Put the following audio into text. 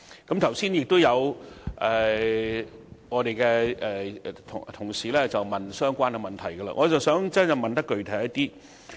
剛才有同事問及相關的問題，我想提出更具體的問題。